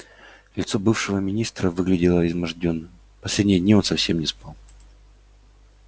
лицо бывшего министра выглядело измождённым последние дни он совсем не спал